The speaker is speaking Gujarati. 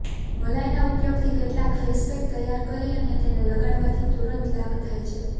મલાઈના ઉપયોગથી કેટલાક ફેસપેક તૈયાર કરી અને તેને લગાડવાથી તુરંત લાભ થાય છે